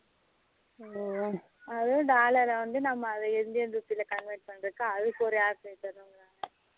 ஹம் அது dollar வந்து Indian rupee covert பண்ணுறதுக்கு அதுக்கு ஒரு app வேணும்